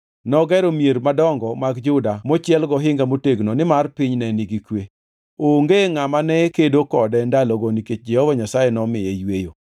Nogero mier madongo mag Juda mochiel gohinga motegno nimar piny ne nigi kwe. Onge ngʼama ne kedo kode ndalogo nikech Jehova Nyasaye nomiye yweyo.